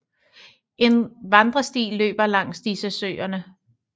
En vandresti løber langs disse søerne